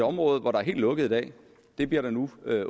område hvor der er helt lukket i dag det bliver der nu